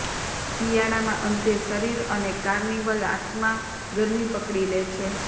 શિયાળામાં અંતે શરીર અને કાર્નિવલ આત્મા ગરમી પકડી લે છે